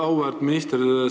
Auväärt minister!